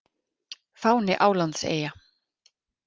Fáni Álandseyja.